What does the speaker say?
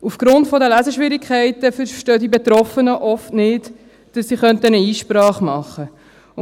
Aufgrund der Leseschwierigkeiten verstehen die Betroffenen oft nicht, dass sie Einsprache machen könnte.